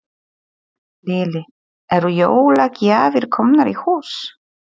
Lillý: Eru jólagjafir komnar í hús?